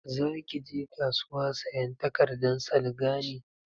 Za ki je kasuwa sayan takardan salga ne?